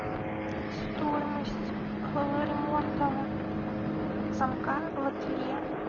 стоимость ремонта замка в ателье